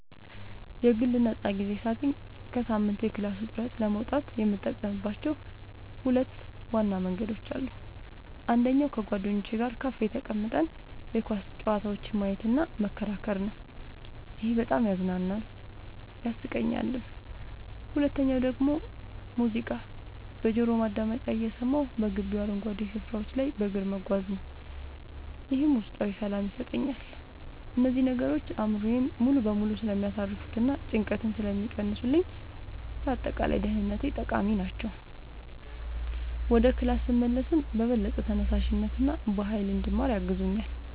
የግል ነፃ ጊዜ ሳገኝ ከሳምንቱ የክላስ ውጥረት ለመውጣት የምጠቀምባቸው ሁለት ዋና መንገዶች አሉኝ። አንደኛው ከጓደኞቼ ጋር ካፌ ተቀምጠን የኳስ ጨዋታዎችን ማየትና መከራከር ነው፤ ይሄ በጣም ያዝናናኛል፣ ያሳቀኛልም። ሁለተኛው ደግሞ ሙዚቃ በጆሮ ማዳመጫ እየሰማሁ በግቢው አረንጓዴ ስፍራዎች ላይ በእግር መጓዝ ነው፤ ይህም ውስጣዊ ሰላም ይሰጠኛል። እነዚህ ነገሮች አእምሮዬን ሙሉ በሙሉ ስለሚያሳርፉትና ጭንቀትን ስለሚቀንሱልኝ ለአጠቃላይ ደህንነቴ ጠቃሚ ናቸው። ወደ ክላስ ስመለስም በበለጠ ተነሳሽነትና በሃይል እንድማር ያግዙኛል።